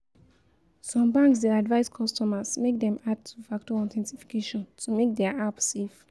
Some banks dey advice customers make dem add two factor authentication to make their app safe